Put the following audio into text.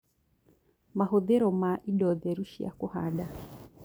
Mahũthĩro ma indo theru cia kũhanda